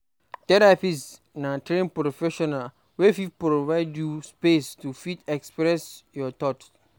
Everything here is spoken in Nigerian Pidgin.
Therapist na trained professional wey fit provide you space to fit express your thought